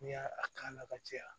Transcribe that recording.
N'i y'a k'a la ka caya